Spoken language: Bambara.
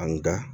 Nka